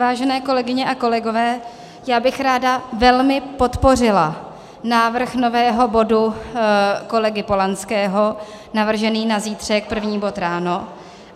Vážené kolegyně a kolegové, já bych ráda velmi podpořila návrh nového bodu kolegy Polanského navržený na zítřek, první bod ráno.